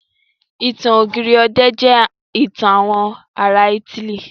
Ìtàn ọ̀gírì ọ̀dẹ̀ jẹ́ ìtàn àwọn ará ítílì.